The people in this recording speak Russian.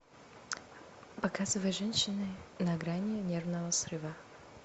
показывай женщины на грани нервного срыва